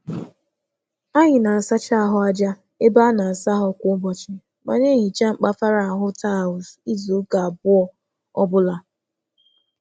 Anyị na-asacha mgbidi igwe mmiri kwa ụbọchị, ma na-asa grout kwa ngwụsị izu abụọ.